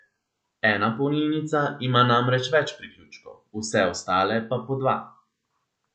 Ena polnilnica ima namreč več priključkov, vse ostale pa po dva.